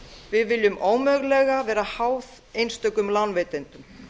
við viljum ómögulega vera háð einstökum lánveitendum